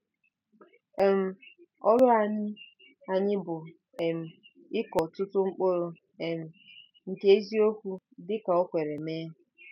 um Ọrụ anyị anyị bụ um ịkọ ọtụtụ mkpụrụ um nke eziokwu dị ka o kwere mee.